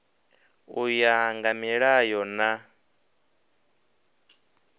u ya nga milayo na